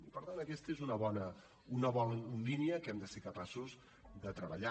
i per tant aquesta és una bona línia que hem de ser capaços de treballar